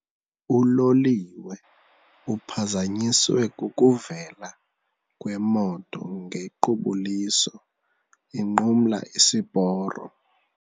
Uloliwe uphazanyiswe kukuvela kwemoto ngequbuliso inqumla isiporo.